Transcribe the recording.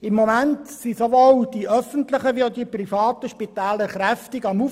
Im Moment rüsten sowohl die öffentlichen als auch die privaten Spitäler kräftig auf.